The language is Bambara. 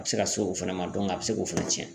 A bɛ se ka se o fana ma a bɛ se k'o fana tiɲɛ.